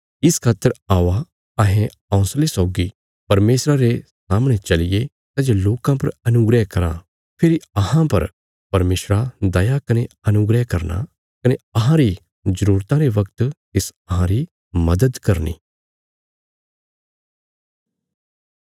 इस खातर औआ अहें हौंसले सौगी परमेशरा रे सामणे चलिये सै जे लोकां पर अनुग्रह कराँ फेरी अहां पर परमेशरा दया कने अनुग्रह करना कने अहांरी जरूरतां रे वगत तिस अहांरी मदद करनी